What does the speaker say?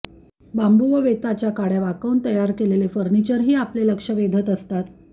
बांबू व वेताच्या काडय़ा वाकवून त्यापासून तयार केलेले फर्निचर ही आपले लक्ष वेधत असतात